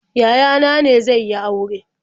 Yaya na ne zai yi aure.